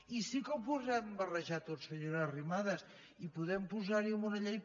i sí que ho podem barrejar tot senyora arrimadas i podem posar hi en una llei